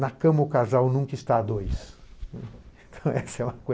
Na cama o casal nunca está a dois.